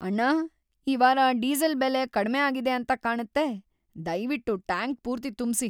ಅಣ್ಣ, ಈ ವಾರ ಡೀಸೆಲ್ ಬೆಲೆ ಕಡ್ಮೆ ಆಗಿದೆ ಅಂತ ಕಾಣತ್ತೆ. ದಯ್ವಿಟ್ಟು ಟ್ಯಾಂಕ್ ಪೂರ್ತಿ ತುಂಬ್ಸಿ.